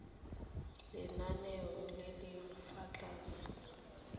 lenaneng le le fa tlase